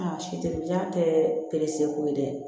Aa ja tɛ ko ye dɛ